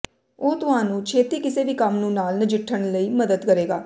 ਉਹ ਤੁਹਾਨੂੰ ਛੇਤੀ ਕਿਸੇ ਵੀ ਕੰਮ ਨੂੰ ਨਾਲ ਨਜਿੱਠਣ ਲਈ ਮਦਦ ਕਰੇਗਾ